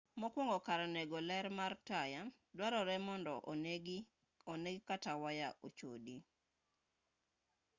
mokwongo kar nego ler mar taya dwarore mondo onegi kata waya ochodi